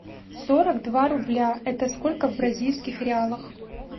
сорок два рубля это сколько в бразильских реалах